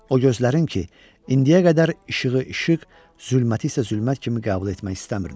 O gözlərin ki, indiyə qədər işığı işıq, zülməti isə zülmət kimi qəbul etmək istəmirdi.